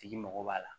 Tigi mago b'a la